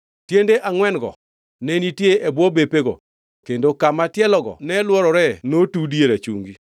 Tiende angʼwen-go ne nitie e bwo bepego kendo kama tielogo ne lworore notudi e rachungi.